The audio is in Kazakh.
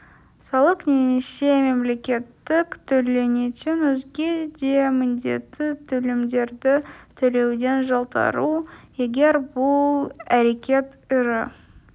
салық немесе мемлекеттік төленетін өзге де міндетті төлемдерді төлеуден жалтару егер бұл әрекет ірі